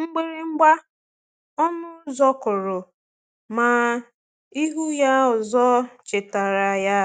Mgbịrịmgba ọnụ ụzọ kụrụ, ma ịhụ ya ọzọ chetaara ya